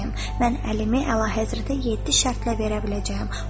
Mən əlimi əlahəzrətə yeddi şərtlə verə biləcəyəm.